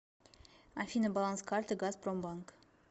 афина баланс карты газпромбанк